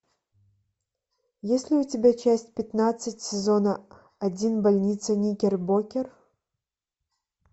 есть ли у тебя часть пятнадцать сезона один больница никербокер